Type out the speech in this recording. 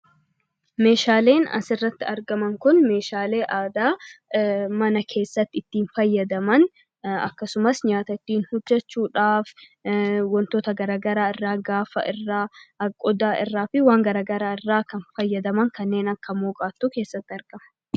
Meeshaaleen asirratti argaman meeshaalee aadaa mana keessatti ittiin fayyadaman akkasumas nyaata ittiin hojjachuudhaaf wantoota garaagaraa irraa gaafa kana fayyadaman kanneen akka mooqaatu keessatti argama.